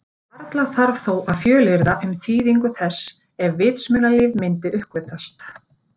Varla þarf þó að fjölyrða um þýðingu þess ef vitsmunalíf myndi uppgötvast.